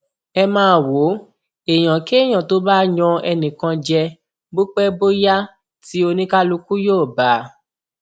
ẹ máa wò ó èèyànkéèyàn tó bá yan ẹnìkan jẹ bó pẹ bóyá tí oníkálukú yóò bá a